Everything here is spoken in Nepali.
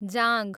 जाँघ